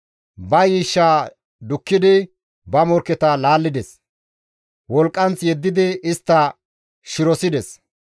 Ba yiishshaa dukkidi ba morkketa laallides; wolqqanth yeddidi istta shirosides.